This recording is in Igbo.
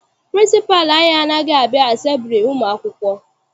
Pịrịnsịpalụ anyị anaghị abịa asembili ụmụ akwụkwọ.